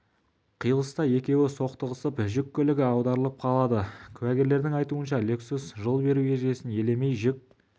қиылыста екеуі соқтығысып жүк көлігі аударылып қалады куәгерлердің айтуынша лексус жол беру ережесін елемей жүк